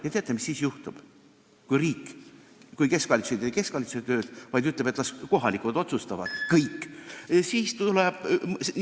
Ja teate, mis juhtus siis, kui keskvalitsus ei teinud keskvalitsuse tööd, vaid ütles, et las kohalikud otsustavad kõik?